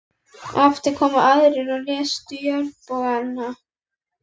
Á eftir komu aðrir og reistu járnbogana.